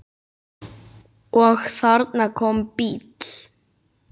Og þarna kom bíll.